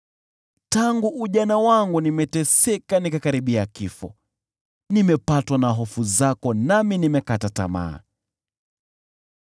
Tangu ujana wangu nimeteseka, nikakaribia kifo; nimepatwa na hofu zako, nami nimekata tamaa.